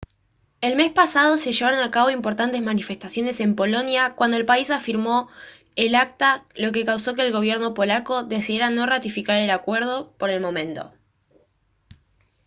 el mes pasado se llevaron a cabo importantes manifestaciones en polonia cuando el país firmó el acta lo que causó que el gobierno polaco decidiera no ratificar el acuerdo por el momento